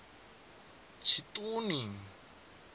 tshiṱuni